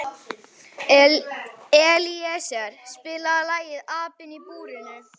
Elíeser, spilaðu lagið „Apinn í búrinu“.